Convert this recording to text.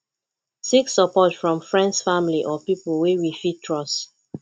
seek support from friends family or pipo wey we fit trust